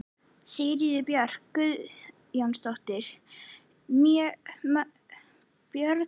Sigríður Björk Guðjónsdóttir: Björn Ingi?